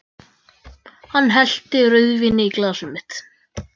Hann hellti rauðvíni í glasið mitt.